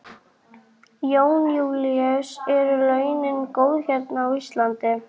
Jón Júlíus: Eru launin góð hérna á Íslandi?